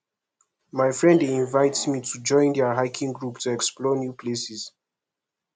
my friend dey invite me to join their hiking group to explore new places